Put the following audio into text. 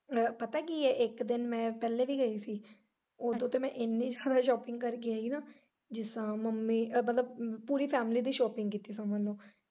ਪਤਾ ਕੀ ਐ ਇੱਕ ਦਿਨ ਮੈਂ ਪਹਿਲਾ ਵੀ ਗਈ ਸੀ ਉਦੋਂ ਤੇ ਮੈਂ ਇੰਨੀ ਜਿਆਦਾ shopping ਕਰ ਕੇ ਆਈ ਨਾਵਜਿਸ ਤਰਾਂ ਮੰਮੀ ਮਤਲਬ ਪੂਰੀ family ਦੀ shopping ਕੀਤੀ ਦੋਵਾਂ ਨੋ।